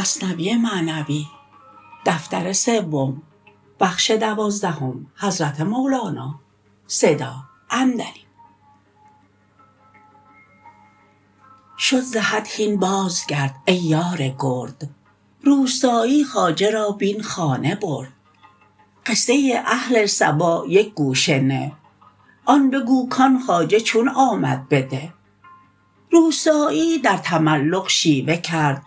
شد ز حد هین باز گرد ای یار گرد روستایی خواجه را بین خانه برد قصه اهل سبا یک گوشه نه آن بگو کان خواجه چون آمد به ده روستایی در تملق شیوه کرد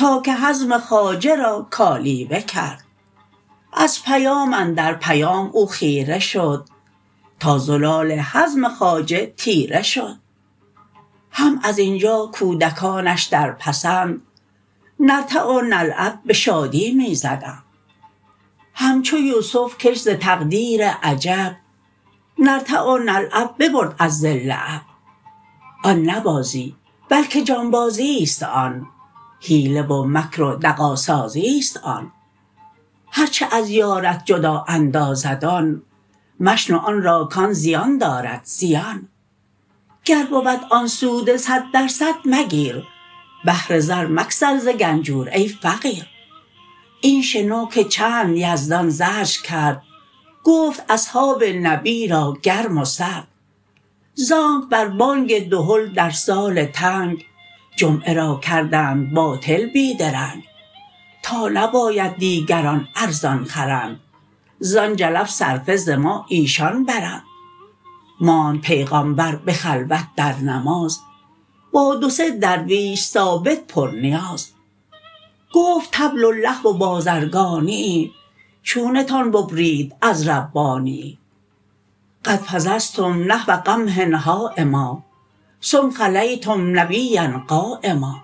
تا که حزم خواجه را کالیوه کرد از پیام اندر پیام او خیره شد تا زلال حزم خواجه تیره شد هم ازینجا کودکانش در پسند نرتع و نلعب به شادی می زدند همچو یوسف که ش ز تقدیر عجب نرتع و نلعب ببرد از ظل اب آن نه بازی بلکه جانبازی ست آن حیله و مکر و دغا سازی ست آن هرچه از یارت جدا اندازد آن مشنو آن را کان زیان دارد زیان گر بود آن سود صد در صد مگیر بهر زر مگسل ز گنجور ای فقیر این شنو که چند یزدان زجر کرد گفت اصحاب نبی را گرم و سرد زانک بر بانگ دهل در سال تنگ جمعه را کردند باطل بی درنگ تا نباید دیگران ارزان خرند زان جلب صرفه ز ما ایشان برند ماند پیغامبر به خلوت در نماز با دو سه درویش ثابت پر نیاز گفت طبل و لهو و بازرگانیی چونتان ببرید از ربانیی قد فضضتم نحو قمح هایما ثم خلیتم نبیا قایما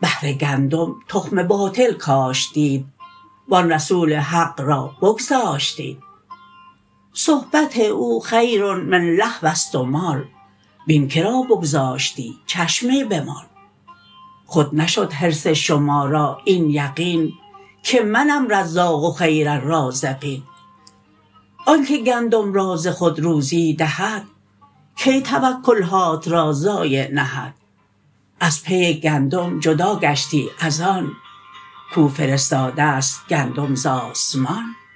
بهر گندم تخم باطل کاشتید و آن رسول حق را بگذاشتید صحبت او خیر من لهو ست و مال بین که را بگذاشتی چشمی بمال خود نشد حرص شما را این یقین که منم رزاق و خیر الرازقین آنکه گندم را ز خود روزی دهد کی توکل هات را ضایع نهد از پی گندم جدا گشتی از آن که فرستاده ست گندم ز آسمان